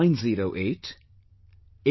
8190881908